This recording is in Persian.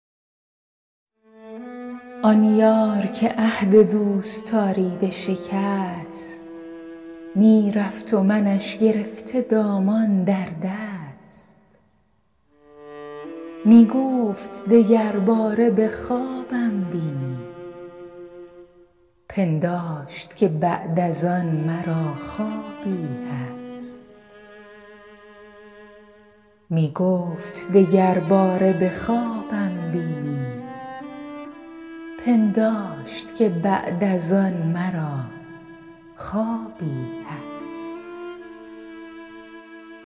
آن یار که عهد دوستاری بشکست می رفت و منش گرفته دامان در دست می گفت دگر باره به خوابم بینی پنداشت که بعد از آن مرا خوابی هست